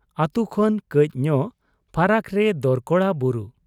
ᱟᱹᱛᱩ ᱠᱷᱚᱱ ᱠᱟᱹᱡ ᱧᱚᱜ ᱯᱷᱟᱨᱟᱠ ᱨᱮ ᱫᱚᱨᱠᱚᱲᱟ ᱵᱩᱨᱩ ᱾